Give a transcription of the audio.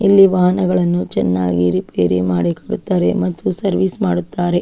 ಇಲ್ಲಿ ವಾಹನಗಳ್ನು ಚೆನ್ನಾಗಿ ರಿಪೇರಿ ಮಾಡಿ ಕೊಡುತ್ತಾರೆ ಮತ್ತು ಸರ್ವಿಸ್ ಮಾಡುತ್ತರ-